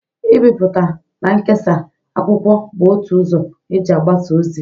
Ibipụta na nkesa akwụkwọ bụ otu ụzọ e ji abasa ozi.